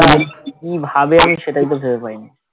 কি ভাবে আমি সেটাই বুঝতে পাইনি